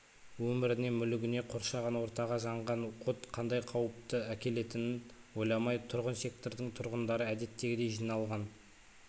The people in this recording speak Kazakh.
өміріне мүлігіне қоршаған ортаға жаңған от қандай қауіпті әкелетінін ойламай тұрғын сектордың тұрғындары әдеттегідей жиналған